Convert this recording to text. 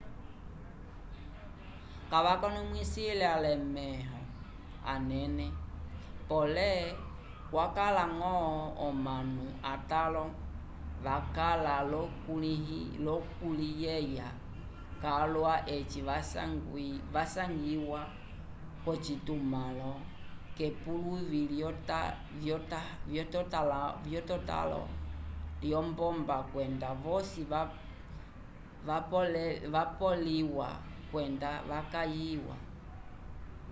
kavakonomwisile alemẽho anene pole kwakala ñgo omanu atãlo vakala l'okuliyeya calwa eci vasangiwa k'ocitumãlo k'epuluvi lyetotãlo lyombomba kwenda vosi vapoleliwa kwenda vakayiwa